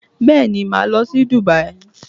Bẹ́ẹ̀ni, màá lọ sí Dubai